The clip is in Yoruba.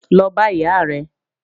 Lọ bá ìyá rẹ̀!